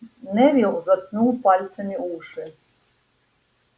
невилл заткнул пальцами уши